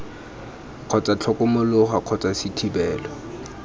kgotsa tlhokomologo kgotsa c thebolo